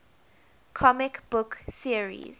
comic book series